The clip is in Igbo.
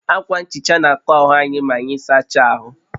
Akwa nhicha na akọ́ ahụ anyị maanyị sacha ahụ